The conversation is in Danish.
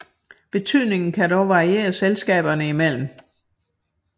Betydningen kan dog variere selskaberne imellem